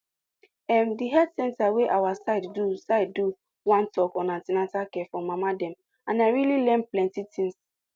em the health center wey our side do side do one talk on an ten atal care for mama dem and i really learn plenty things